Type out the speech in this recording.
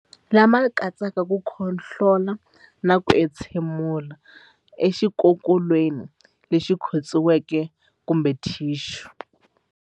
Lama katsaka ku khohlola na ku entshemulela exikokolweni lexi khotsiweke kumbe thixu.